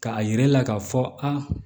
K'a yira e la k'a fɔ a